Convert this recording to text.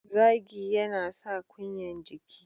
Zagi yana sa kunyan jiki.